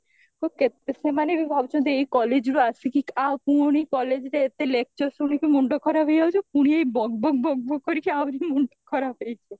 ତ ସେମାନେ ବି ଭାବୁଚନ୍ତି ଏଇ collegeରୁ ଆସିକି ପୁଣି collegeରେ ଏତେ lecture ଶୁଣିକି ମୁଣ୍ଡ ଖରାପ ହେଇଯାଉଚି ପୁଣି ଏଇ ବକ୍ ବକ୍ ବକ୍ ବକ୍ କରିକି ଆହୁରି ମୁଣ୍ଡ ଖରାପ ହେଇଯିବ